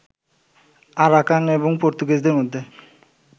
Arakan এবং পর্তুগিজদের মধ্যে